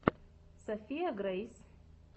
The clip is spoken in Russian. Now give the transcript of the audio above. софия грейс